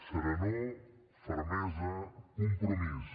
serenor fermesa compromís